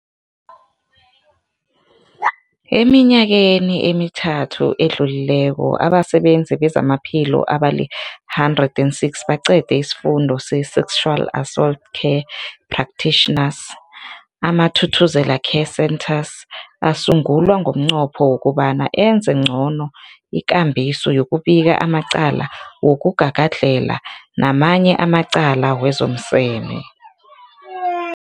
Eminyakeni emithathu edluleko, abasebenzi bezamaphilo abali-106 baqede isiFundo se-Sexual Assault Care Practitioners. AmaThuthuzela Care Centres asungulwa ngomnqopho wokobana enze ngcono ikambiso yokubika amacala wokugagadlhela namanye amacala wezomseme.